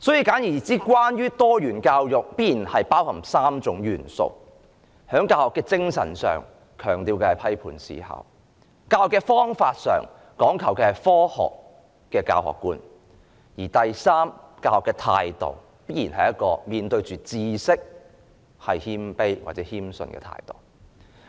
簡而言之，多元教育必然包含3種元素：在教學的精神上，強調的是批判思考；在教學的方法上，講求的是科學的教學觀；而第三，在教學的態度方面，面對知識時必然要保持謙卑或謙遜的態度。